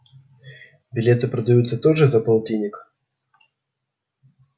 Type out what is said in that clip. билеты продаются тоже за полтинник